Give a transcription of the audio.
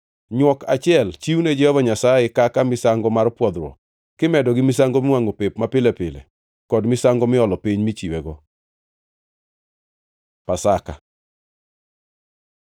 Nywok achiel chiwne Jehova Nyasaye kaka misango mar pwodhruok kimedo gi misango miwangʼo pep mapile pile kod misango miolo piny michiwego. Pasaka